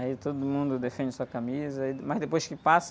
Aí todo mundo defende sua camisa, aí, mas depois que passa,